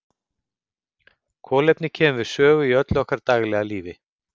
Kolefni kemur við sögu í öllu okkar daglega lífi.